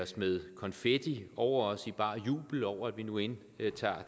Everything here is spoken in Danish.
smed konfetti over os i bar jubel over at vi nu indtager